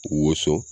Wonso